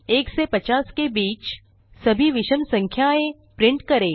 1 से 50 के बीच सभी विषम संख्याएँ प्रिंट करें